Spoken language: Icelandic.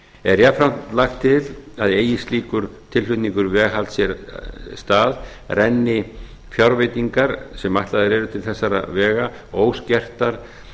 er jafnframt lagt til að eigi slíkur tilflutningur veghalds sér stað renni fjárveitingar sem ætlaðar eru til þessara vega óskertar